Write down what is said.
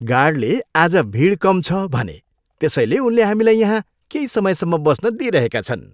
गार्डले आज भिड कम छ भने। त्यसैले उनले हामीलाई यहाँ केही समयसम्म बस्न दिइरहेका छन्।